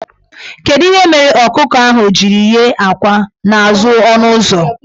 Kedu ihe mere ọkụkọ ahụ jiri yie akwa n' azụ ọnụụzọ?